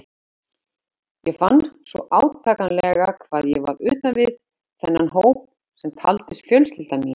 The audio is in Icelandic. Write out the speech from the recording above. Ég fann svo átakanlega hvað ég var utan við þennan hóp sem taldist fjölskylda mín.